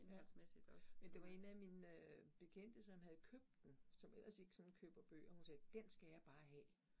Ja, men det var en af mine øh bekendte, som havde købt den, som ellers ikke sådan køber bøger, hun sagde, den skal jeg bare have